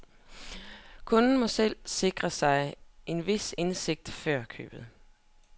Kunden må selv sikre sig en vis indsigt før købet.